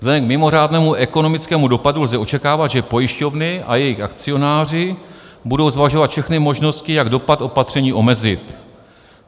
Vzhledem k mimořádnému ekonomickému dopadu lze očekávat, že pojišťovny a jejich akcionáři budou zvažovat všechny možnosti, jak dopad opatření omezit.